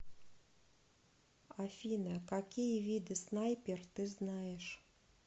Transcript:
афина какие виды снайпер ты знаешь